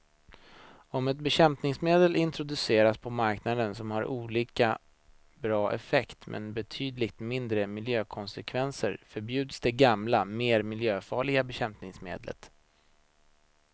Om ett bekämpningsmedel introduceras på marknaden som har lika bra effekt men betydligt mindre miljökonsekvenser förbjuds det gamla, mer miljöfarliga bekämpningsmedlet.